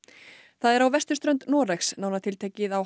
það er á vesturströnd Noregs nánar tiltekið á